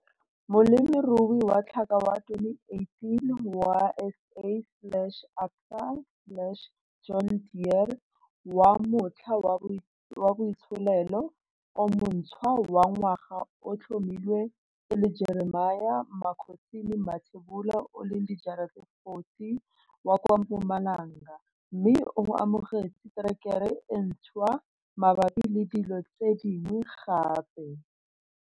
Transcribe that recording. Molemirui wa Tlhaka wa 2018 wa SA kgotsa Absa kgotsa John Deere wa Motlha wa Boitsholelo o Montshwa wa Ngwaga o tlhomilwe e le Jeremia Makhosini Mathebula 40 wa kwa Mpumalanga mme o amogetse terekere e ntshwa mabapi le dilo tse dingwe gape.